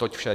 Toť vše.